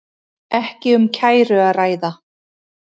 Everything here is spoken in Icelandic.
Ekki um kæru að ræða